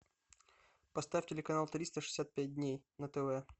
поставь телеканал триста шестьдесят пять дней на тв